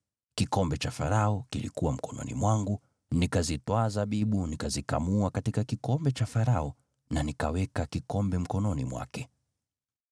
Kikombe cha Farao kilikuwa mkononi mwangu, nikazitwaa zabibu, nikazikamua katika kikombe cha Farao, na nikaweka kikombe mkononi mwake.”